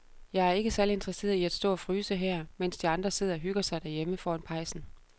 Jeg er ikke særlig interesseret i at stå og fryse her, mens de andre sidder og hygger sig derhjemme foran pejsen.